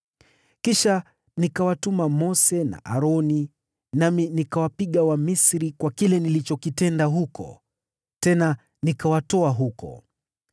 “ ‘Kisha nikawatuma Mose na Aroni, nami nikawapiga Wamisri kwa kile nilichokitenda huko, tena nikawatoa ninyi huko.